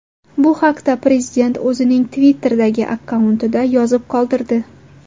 Bu haqda prezident o‘zining Twitter’dagi akkauntida yozib qoldirdi .